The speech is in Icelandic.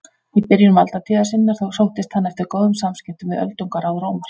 Í byrjun valdatíðar sinnar sóttist hann eftir góðum samskiptum við öldungaráð Rómar.